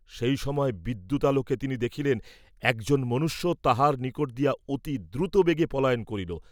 সেই সময় বিদ্যুতালোকে তিনি দেখিলেন, এক জন মনুষ্য তাঁহার নিকট দিয়া অতি দ্রুতবেগে পলায়ন করিল।